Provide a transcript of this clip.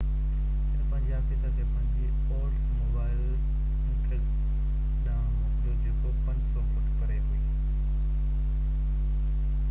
هن پنهنجي آفيسر کي پنهنجي اولڊس موبائل انٽرگ ڏانهن موڪليو جيڪو 500 فٽ پري هئي